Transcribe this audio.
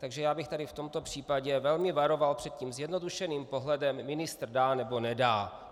Takže já bych tady v tomto případě velmi varoval před tím zjednodušeným pohledem - ministr dá, nebo nedá.